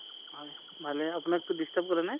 ভালে আপোনাক টো disturb কৰা নাই?